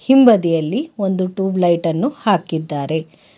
ಹಿಂಭದಿಯಲ್ಲಿ ಒಂದು ಟುಬಲೈಟ್ ಅನ್ನು ಹಾಕಿದ್ದಾರೆ.